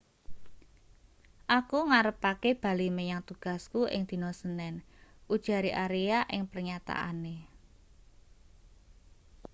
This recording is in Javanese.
aku ngarepake bali menyang tugasku ing dina senin ujare aria ing pernyataane